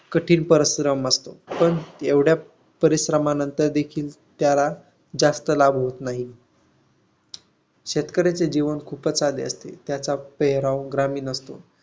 पण एवढ्या परिश्रमानंतर देखील त्याला जास्त लाभ होत नाही. शेतकऱ्याचे जीवन खूपच साधे असते. त्याचा पेहराव ग्रामीण असतो.